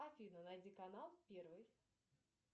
афина найди канал первый